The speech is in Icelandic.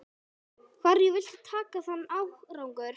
Hverju viltu þakka þann árangur?